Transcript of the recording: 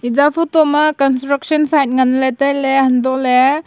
eya photo ma construction side ngan ley tai ley hantoh ley.